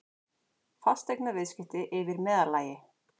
Fasteignaviðskipti yfir meðallagi